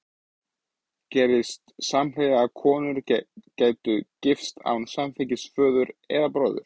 Gerðist samhliða að konur gætu gifst án samþykkis föður eða bróður?